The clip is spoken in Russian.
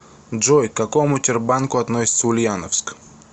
джой к какому тербанку относится ульяновск